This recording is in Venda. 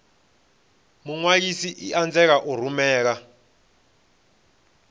muṅwalisi i anzela u rumela